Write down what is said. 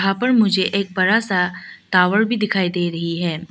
यहां पर मुझे एक बड़ा सा टावर भी दिखाई दे रही है।